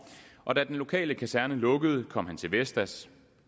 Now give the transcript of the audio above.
og da den lokale kaserne lukkede kom han til vestas